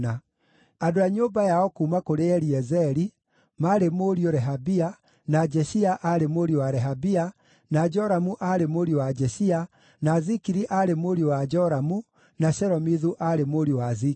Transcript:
Andũ a nyũmba yao kuuma kũrĩ Eliezeri: maarĩ mũriũ Rehabia, na Jeshia aarĩ mũriũ wa Rehabia, na Joramu aarĩ mũriũ wa Jeshia, na Zikiri aarĩ mũriũ wa Joramu, na Shelomithu aarĩ mũriũ wa Zikiri.